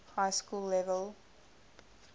high school level